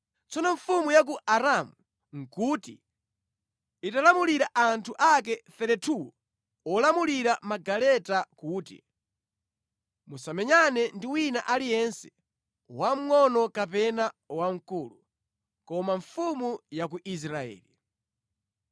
Tsono mfumu ya ku Aramu nʼkuti italamulira anthu ake 32 olamulira magaleta kuti, “Musamenyane ndi wina aliyense, wamngʼono kapena wamkulu, koma mfumu ya ku Israeli.”